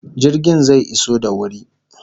Jirgin zai iso da wuri